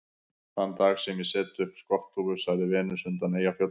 Þann dag sem ég set upp skotthúfu, sagði Venus undan Eyjafjöllum